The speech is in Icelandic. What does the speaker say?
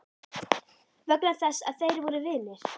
Vegna þess að þeir voru vinir?